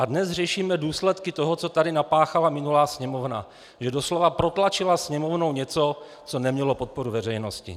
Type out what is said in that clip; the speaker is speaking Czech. A dnes řešíme důsledky toho, co tady napáchala minulá Sněmovna, že doslova protlačila Sněmovnou něco, co nemělo podporu veřejnosti.